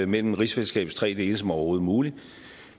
mellem rigsfællesskabets tre dele som overhovedet muligt